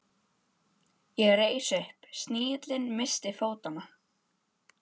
Ég reis upp, snigillinn missti fótanna.